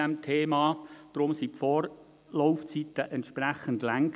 Deshalb waren die Vorlaufzeiten entsprechend lang.